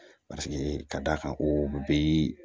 ka d'a kan o bi